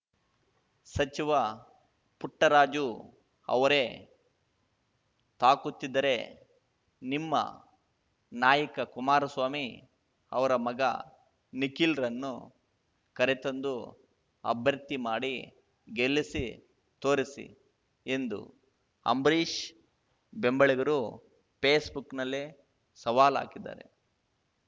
ಸಚಿವ ಪುಟ್ಟರಾಜು ಅವರೇ ತಾಕುತ್ತಿದ್ದರೆ ನಿಮ್ಮ ನಾಯಕ ಕುಮಾರಸ್ವಾಮಿ ಅವರ ಮಗ ನಿಖಿಲ್‌ರನ್ನು ಕರೆತಂದು ಅಭ್ಯರ್ಥಿ ಮಾಡಿ ಗೆಲ್ಲಿಸಿ ತೋರಿಸಿ ಎಂದು ಅಂಬರೀಷ್‌ ಬೆಂಬಲಿಗರು ಫೇಸ್‌ಬುಕ್‌ನಲ್ಲೇ ಸವಾಲು ಹಾಕಿದ್ದಾರೆ